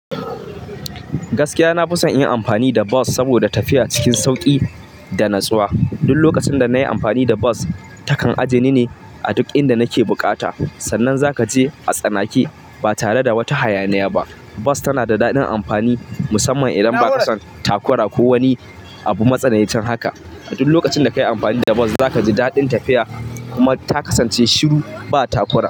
Gaskiya na fi son in yi amfani da bus saboda tafiya cikin sauƙi da natsuwa. Duk lokacin da na yi amfani da bus, ta kan aje ni ne a duk inda nake buƙata Sannan za ka je a tsanake ba tare da wata hayaniya ba. Bus tana da daɗin amfani musamman idan baka son takura ko wani abu matsanai cin haka duk lokacin da kayi amfani da bus za kaji daɗin tafiya kuma ta kasance shiru ba takura.